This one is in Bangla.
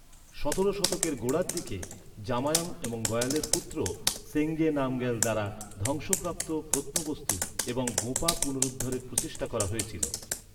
সতেরো শতকের গোড়ার দিকে জাময়াং এবং গয়ালের পুত্র সেঙ্গে নামগ্যাল দ্বারা ধ্বংসপ্রাপ্ত প্রত্নবস্তু এবং গোঁপা পুনরুদ্ধারের প্রচেষ্টা করা হয়েছিল।